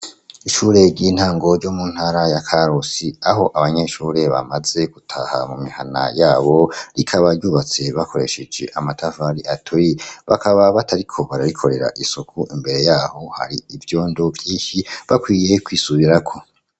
Ishure ry'intango ryo mu ntara ya karusi, aho abanyeshuri bamaze gutaha mu mihana y'abo. Rikaba ryubatse bakoresheje amatafari aturiye, bakaba batariko bararikorera isuku. Imbere y'aho, har'ivyondo vyinshyi. Bakwiye kwisubirako.